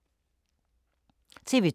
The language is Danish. TV 2